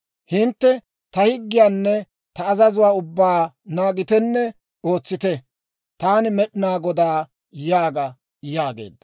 Hintte ta higgiyaanne ta azazuwaa ubbaa naagitenne ootsite. Taani Med'inaa Godaa yaaga› » yaageedda.